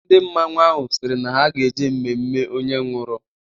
Ndị mmanwụ ahụ sịrị na ha ga-eje mmemme onye nwụrụ.